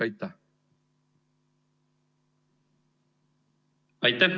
Aitäh!